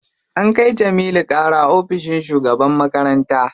An kai Jamilu ƙara ofishin shugaban makaranta.